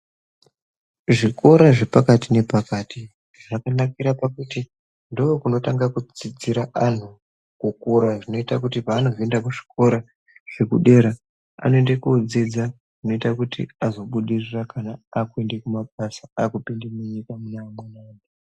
Zvikora zvepakati nepakati zvakanakira kuti ndokunotanga kudzidzira anhu kukura zvinoita kuti paanozoenda kuzvikora zvedera anoende kodzidza zvinoita kuti azobudirira akuenda kumabasa akupinde munyika muneamweni anhu.